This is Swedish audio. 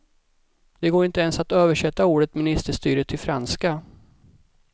Det går inte ens att översätta ordet ministerstyre till franska.